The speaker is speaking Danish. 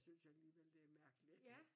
Synes jeg alligevel det mærkeligt